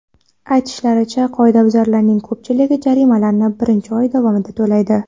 Aytilishicha, qoidabuzarlarning ko‘pchiligi jarimalarni birinchi oy davomida to‘laydi.